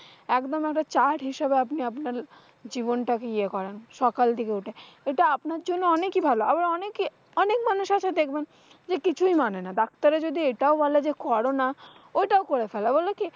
একদম একটা chart হিসেবে আপনি আপনার জীবনটাকে ইয়ে করেন সকাল দিকে উঠে। এটা আপনার জন্য অনেকি ভালো আল্লাহ অনেকে অনেক মানুষ আসছে দেখবেন, যে কিছুই মানে না doctor এ যদি এইটাই বলে যে করনা, ঐটাও করে ফেলে। বলে কী?